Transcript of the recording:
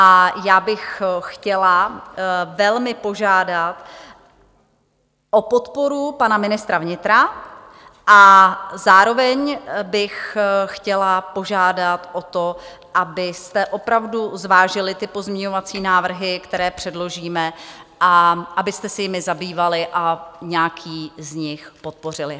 A já bych chtěla velmi požádat o podporu pana ministra vnitra a zároveň bych chtěla požádat o to, abyste opravdu zvážili ty pozměňovací návrhy, které předložíme, a abyste se jimi zabývali a nějaký z nich podpořili.